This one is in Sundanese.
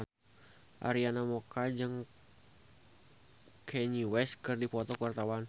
Arina Mocca jeung Kanye West keur dipoto ku wartawan